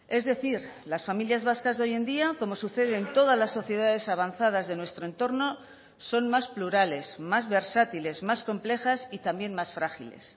es decir las familias vascas de hoy en día como sucede en todas las sociedades avanzadas de nuestro entorno son más plurales más versátiles más complejas y también más frágiles